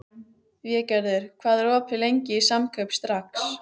Végerður, hvað er lengi opið í Samkaup Strax?